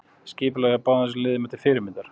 Skipulagið hjá báðum þessum liðum er til fyrirmyndar.